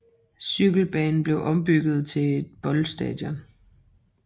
Cykelbanen blev ombygget til et fodboldstadion